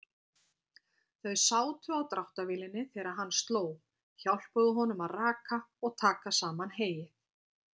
Þau sátu á dráttarvélinni þegar hann sló, hjálpuðu honum að raka og taka saman heyið.